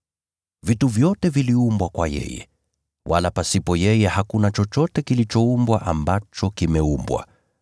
Vitu vyote viliumbwa kwa yeye, wala pasipo yeye hakuna chochote kilichoumbwa ambacho kimeumbwa.